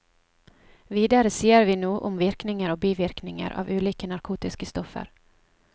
Videre sier vi noe om virkninger og bivirkninger av ulike narkotiske stoffer.